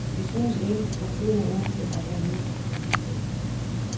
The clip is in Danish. Vi synes ikke, at tiden er inde til at hovere.